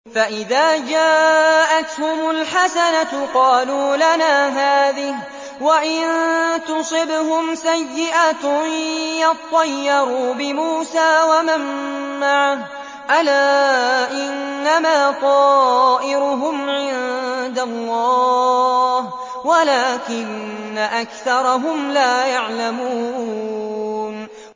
فَإِذَا جَاءَتْهُمُ الْحَسَنَةُ قَالُوا لَنَا هَٰذِهِ ۖ وَإِن تُصِبْهُمْ سَيِّئَةٌ يَطَّيَّرُوا بِمُوسَىٰ وَمَن مَّعَهُ ۗ أَلَا إِنَّمَا طَائِرُهُمْ عِندَ اللَّهِ وَلَٰكِنَّ أَكْثَرَهُمْ لَا يَعْلَمُونَ